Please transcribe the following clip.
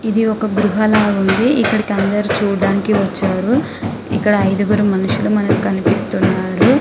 ఇది ఒక గృహ లాగ ఉంది. ఇక్కడికి అందరూ చూడటానికి వచ్చారు. ఇక్కడ ఐదుగురు మనుషులు మనకు కనిపిస్తున్నారు. .>